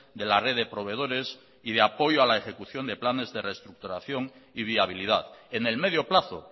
de la red de proveedores y de apoyo a la ejecución de planes de reestructuración y viabilidad en el medio plazo